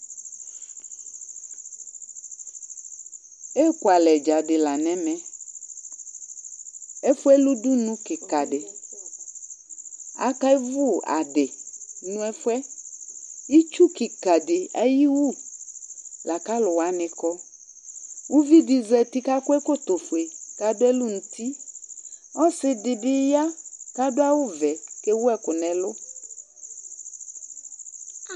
Ekualɛ dza dɩ la nʋ ɛmɛ Ɛfʋ yɛ lɛ udunu kɩka dɩ Akewu adɩ nʋ ɛfʋ yɛ Itsu kɩka dɩ ayʋ iwu la kʋ alʋ wanɩ kɔ Uvi dɩ zati kʋ akɔ ɛkɔtɔfue kʋ adʋ ɛlʋ nʋ uti Ɔsɩ bɩ ya kʋ adʋ awʋvɛ kʋ ewu ɛkʋ nʋ ɛlʋ